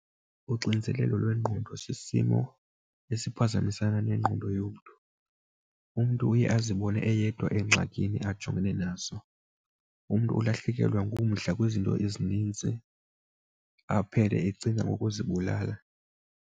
Uxinizelelo lwengqondo sisimo esiphazamisana nengqondo yomntu. Umntu uye azibone eyedwa engxakini ajongene nazo, umntu ulahlekelwa ngumdla kwizinto ezininzi aphele ecinga ngokuzibulala.